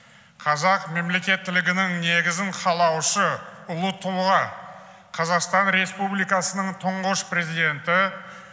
қазақ мемлекеттілігінің негізін қалаушы ұлы тұлға қазақстан республикасының тұңғыш президенті